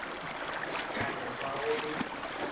ka no ba go le